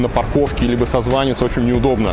на парковке либо созвониться очень не удобно